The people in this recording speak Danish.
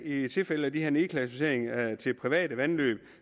i tilfælde af de her nedklassificeringer til private vandløb